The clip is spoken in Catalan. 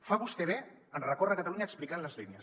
fa vostè bé en recórrer catalunya explicant les línies